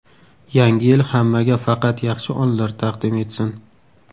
Yangi yil hammaga faqat yaxshi onlar taqdim etsin.